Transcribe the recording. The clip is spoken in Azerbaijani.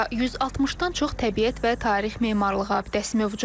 Burda 160-dan çox təbiət və tarix memarlıq abidəsi mövcuddur.